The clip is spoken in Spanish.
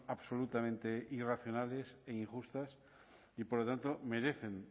absolutamente irracionales e injustas y por lo tanto merecen